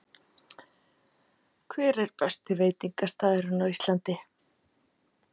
Hver er besti veitingastaðurinn á Íslandi?